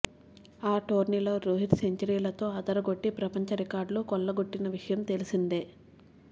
ఆ టోర్నీలో రోహిత్ సెంచరీలతో అదరగొట్టి ప్రపంచ రికార్డులు కొల్లగొట్టిన విషయం తెలిసిందే